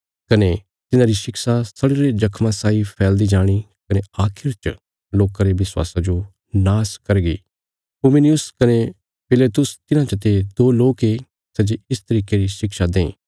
कने तिन्हांरी शिक्षा सड़ीरे जख्मा साई फैलदी जाणी कने आखिर च लोकां रे विश्वासा जो नाश करगी हुमिनयुस कने फिलेतुस तिन्हां चते दो लोक ये सै जे इस तरिके री शिक्षा दें